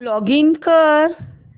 login कर